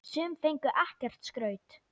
Sum fengu ekkert skraut.